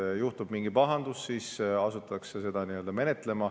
Kui juhtub mingi pahandus, siis asutatakse seda menetlema.